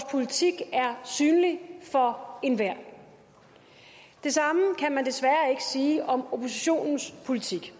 politik er synlig for enhver det samme kan man desværre ikke sige om oppositionens politik